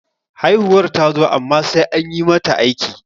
haihuwar ta zo amma sai an yi mata aiki